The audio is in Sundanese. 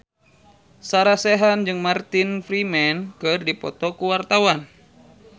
Sarah Sechan jeung Martin Freeman keur dipoto ku wartawan